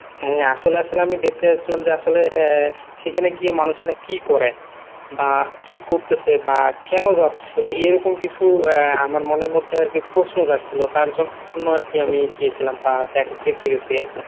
হ্যা আসলে আসলে আমি দেখতে চাচ্ছিলাম যে আসলে সেখানে গিয়ে মানুষেরা কি করে বা কি করতেছে বা কেন যাচ্ছে এইরকম কিছু আসলে আমার মনের মধ্যে আরকি প্রশ্ন জাগছিল তার জন্য আরকি আমি গিয়েছিলাম বা দেখ দেখতে গেছি আরকি।